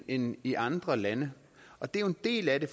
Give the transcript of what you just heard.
end i andre lande og det er en del af det